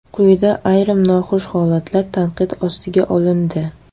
Quyida ayrim noxush holatlar tanqid ostiga olindi.